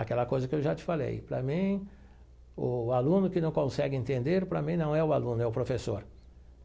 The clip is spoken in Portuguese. Aquela coisa que eu já te falei, para mim, o aluno que não consegue entender, para mim, não é o aluno, é o professor.